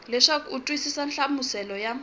leswaku u twisisa nhlamuselo ya